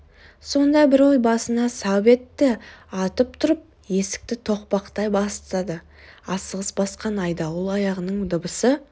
сонда бір ой басына сап етті атып тұрып есікті тоқпақтай бастады асығыс басқан айдауыл аяғының дыбысы